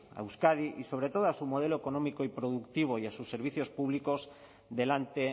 a euskadi y sobre todo a su modelo económico y productivo y a sus servicios públicos delante